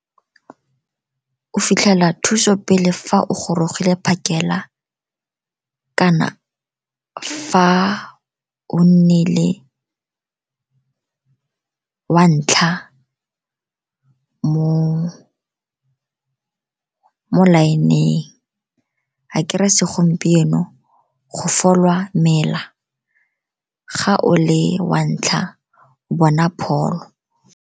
O fitlhela thuso pele fa o gorogile phakela, kana fa o nnile wa ntlha mo line-ng akere ya segompieno, go folwa mela ga o le wa ntlha, o bona pholo.